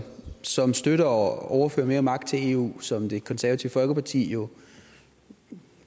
som støtter at overføre mere magt til eu som det konservative folkeparti jo